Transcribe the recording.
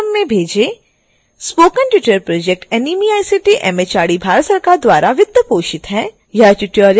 spoken tutorial project nmeict mhrd Bharat सरकार द्वारा वित्तपोषित है